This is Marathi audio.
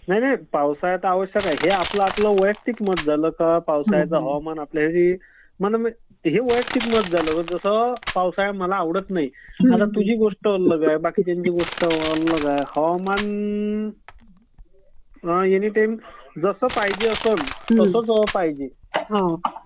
नाही नाही. पावसाळा तर आवश्यक आहे, हे आपलं आपलं वैयक्तिक मत झालं. पण जसं पावसाळा मला आवडत नाही तुझी गोष्ट अलग आहे, बाकीच्यांची गोष्ट अलग आहे. हवामान एनी टाईम जसं पायजे असेल तसंच पाहिजे.